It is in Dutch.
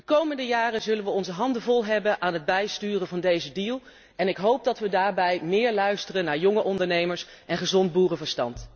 De komende jaren zullen we onze handen vol hebben aan het bijsturen van deze deal en ik hoop dat we daarbij meer luisteren naar jonge ondernemers en gezond boerenverstand.